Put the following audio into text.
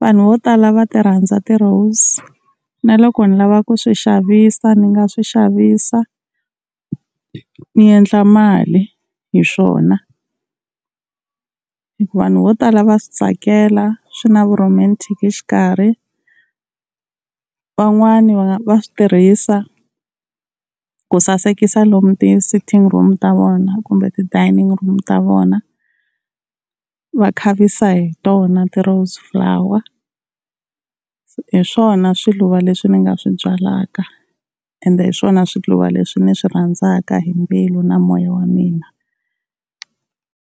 vanhu vo tala va ti rhandza ti rose na loko ni lava ku swi xavisa ni nga swi xavisa ni endla mali hi swona hi ku vanhu vo tala va swi tsakela swi na vu-romatic xikarhi. Van'wani va va swi tirhisa ku sasekisa lomu ti-sitting room ta vona kumbe ti-dining room ta vona, va khavisa hi tona ti-rose flower. Hi swona swiluva leswi ni nga swi byalaka ende hi swona swiluva leswi ni swi rhandzaka hi mbilu na moya wa mina.